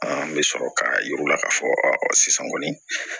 An bɛ sɔrɔ k'a yir'u la k'a fɔ sisan kɔni